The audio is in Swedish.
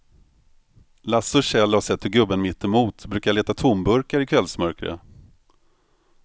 Lasse och Kjell har sett hur gubben mittemot brukar leta tomburkar i kvällsmörkret.